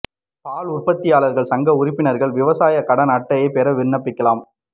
பால் உற்பத்தியாளா்கள் சங்க உறுப்பினா்கள் விவசாயக் கடன் அட்டை பெற விண்ணப்பிக்கலாம்